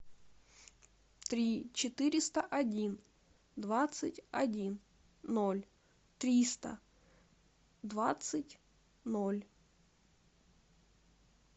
три четыреста один двадцать один ноль триста двадцать ноль